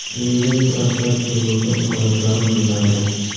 shuningdek profilaktika bo‘yicha imkoniyatlarimiz yetarli.